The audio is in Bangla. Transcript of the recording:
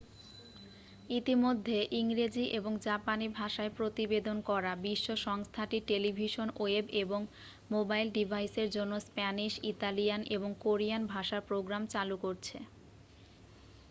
ইতিমধ্যে ইংরেজি এবং জাপানি ভাষায় প্রতিবেদন করা বিশ্ব সংস্থাটি টেলিভিশন ওয়েব এবং মোবাইল ডিভাইসের জন্য স্প্যানিশ ইতালিয়ান এবং কোরিয়ান ভাষার প্রোগ্রাম চালু করছে